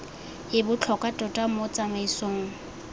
e botlhokwa tota mo tsamaisong